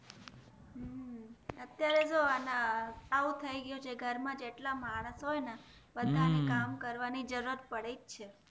અત્યારે જો આમાં આવું થઇ ગૌ છે કે ઘર માં જેટલા માણસ હોઈ બધાને કામ કરવાની જરૂર પડે છે